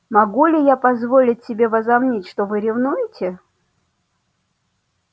могу ли я позволить себе возомнить что вы ревнуете